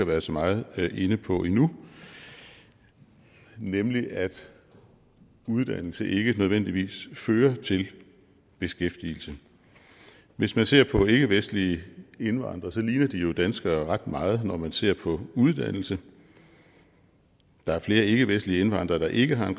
været så meget inde på endnu nemlig at uddannelse ikke nødvendigvis fører til beskæftigelse hvis man ser på ikkevestlige indvandrere ligner de jo danskere ret meget når man ser på uddannelse der er flere ikkevestlige indvandrere der ikke har